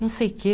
Não sei o quê.